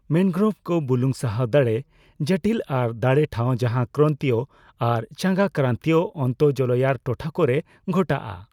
ᱢᱮᱱᱜᱳᱨᱳᱵᱷ ᱠᱚ ᱵᱩᱞᱩᱝᱼ ᱥᱟᱦᱟᱣ ᱫᱟᱲᱮ, ᱡᱚᱴᱤᱞ ᱟᱨ ᱫᱟᱲᱮ ᱴᱷᱟᱣ ᱡᱟᱦᱟᱸ ᱠᱨᱟᱱᱛᱤᱭᱚ ᱟᱨ ᱪᱟᱸᱜᱟᱼᱠᱨᱟᱱᱛᱤᱭᱚ ᱟᱱᱛᱚ ᱡᱚᱞᱳᱭᱟᱨ ᱴᱚᱴᱷᱟ ᱠᱚᱨᱮ ᱜᱷᱚᱴᱟᱣᱼᱟ ᱾